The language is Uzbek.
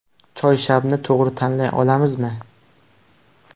Choyshabni to‘g‘ri tanlay olamizmi?